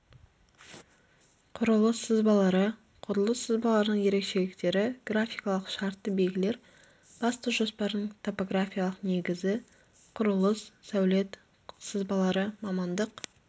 құрылыс сызбалары құрылыс сызбаларының ерекшеліктері графикалық шартты белгілер басты жоспардың топографиялық негізі құрылыс сәулет сызбалары мамандық